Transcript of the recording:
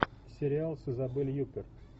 сериал с изабель юппер